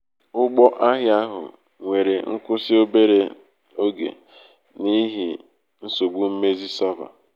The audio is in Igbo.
ụgbọ ahịa ahụ nwere nkwụsị obere oge n'ihi nsogbu mmezi sava.